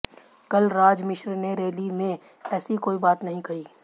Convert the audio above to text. कलराज मिश्र ने रैली में ऐसी कोई बात नहीं कही